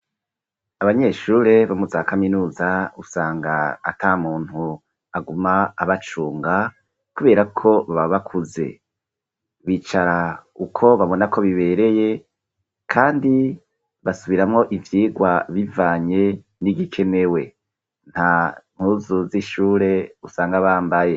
Abanyeshure bo mu za kaminuza usanga ata muntu aguma abacunga, kubera ko baba bakuze bicara uko babona ko bibereye, kandi basubiramwo ivyirwa bivanye n'igikenewe nta ntuzuzishure usanga bambaye.